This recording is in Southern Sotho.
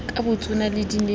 ka botsona di ne di